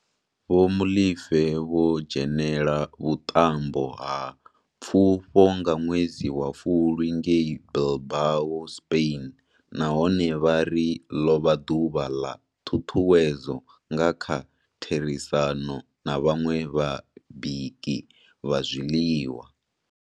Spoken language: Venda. Vho Molefe vho dzhenela vhuṱambo ha pfufho nga ṅwedzi wa Fulwi ngei Bilbao, Spain, nahone vha ri ḽo vha ḓuvha ḽa ṱhuṱhuwedzo nga kha therisano na vhaṅwe vhabiki vha zwiḽiwa.